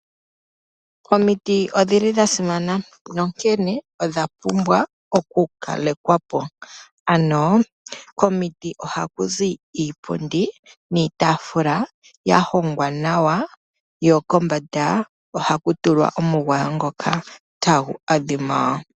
Omiti odhili dhasimana nonkene odhapumbwa okukalekwapo ano komiti ohakuzi iipundi niitaafula yahongwa nawa yokombanda ohaku tulwa omugwayo ngoka tagu adhima.